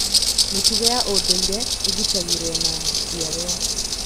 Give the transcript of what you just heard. Mĩtugo ya ũndũire ĩgitagĩrwo na njiarũa.